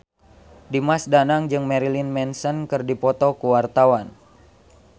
Dimas Danang jeung Marilyn Manson keur dipoto ku wartawan